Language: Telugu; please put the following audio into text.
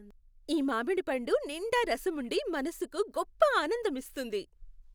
ఈ మామిడిపండు నిండా రసం ఉండి మనసుకి గొప్ప ఆనందమిస్తుంది.